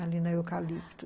ali na Eucalipto.